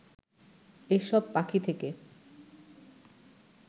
এসব পাখি থেকে